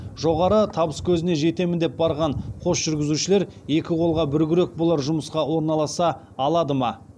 жоғары табыскөзіне жетемін деп барған қос жүргізушілер екі қолға бір күрек болар жұмысқа орналаса алады ма